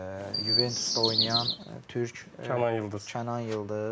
Yuventusda oynayan türk Kənan Yıldız.